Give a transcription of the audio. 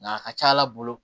Nka a ka ca ala bolo